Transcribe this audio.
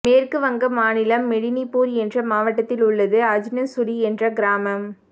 மேற்கு வங்க மாநிலம் மெடினிபூர் என்ற மாவட்டத்தில் உள்ளது அஜ்னசுலி என்ற கிராமம்